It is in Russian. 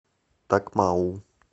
такмау